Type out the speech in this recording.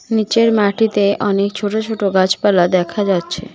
নীচের মাটিতে অনেক ছোটো ছোটো গাছপালা দেখা যাচ্ছে।